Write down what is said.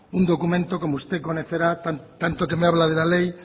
un documento como usted conocerá tanto que me habla de la ley